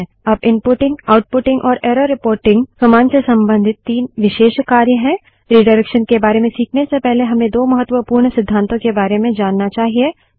अब inputting outputting और error reporting command से संबंधित तीन विशेष कार्य हैं रिडाइरेक्शन के बारे में खीखने से पहले हमें दो महत्वपूर्ण सिद्धातों के बारे में जानना चाहिए